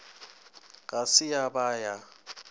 ga se ya ba ya